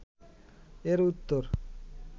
এর উত্তর